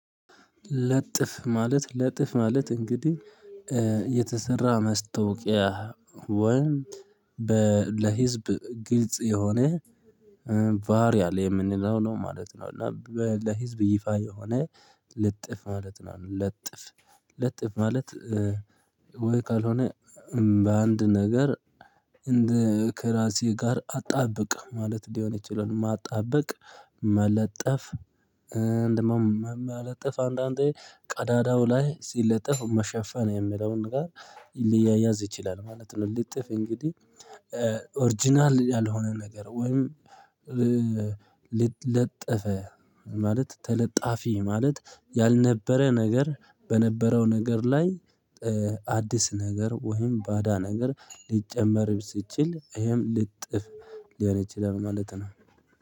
ለጥፍ ማለት ለጥፍ ማለት እንግዲህ የተሰራ መስታወቂያ ወይም በ ለህዝብ ግልጽ የሆነ ቫሪያል የምንለው ነው ማለት ነው። እና ለህዝብ ይፋ የሆነ ልጥፍ ማለት ነው። ለጥፍ ለጥፍ ማለት ወይ ካልሆነ በአንድ ነገር እንደ ከራሴ ጋር አጣብቅ ማለት ሊሆን ይችላል። ማጣበቅ መለጠፍ እንደ ደግሞም መለጠፍ አንዳንዴ ቀዳዳው ላይ ሲለጥፍ መሸፈን የሚለውን ጋር ሊያያዝ ይችላል ማለት ነው። ልጥፍ እንግዲህ ኦርጅናል ያልሆነ ነገር ወይም ለጥፈ ማለት ተለጣፊ ማለት ያልነበረ ነገር በነበረው ነገር ላይ አዲስ ነገር ወይም ባዳ ነገር ሊጨመር ሲችል ይሄም ልጥፍ ሊሆን ይችላል ማለት ነው